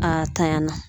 A tanyan na